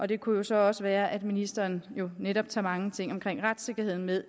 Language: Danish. det kunne jo så også være at ministeren netop tager mange ting om retssikkerheden med